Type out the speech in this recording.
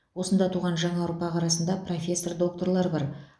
осында туған жаңа ұрпақ арасында профессор докторлар бар